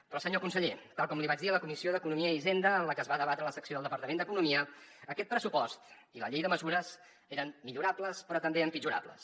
però senyor conseller tal com li vaig dir a la comissió d’economia i hisenda en la que es va debatre la secció del departament d’economia aquest pressupost i la llei de mesures eren millorables però també empitjorables